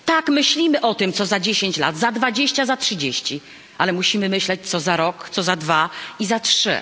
Tak, myślimy o tym, co za 10 lat, za 20, za 30, ale musimy myśleć o tym, co za rok, co za dwa i za trzy.